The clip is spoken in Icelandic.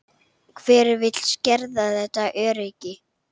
Hver vill skerða þetta öryggi?